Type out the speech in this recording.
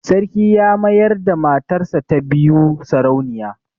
Sarki ya mayar da matarsa ta biyu sarauniya.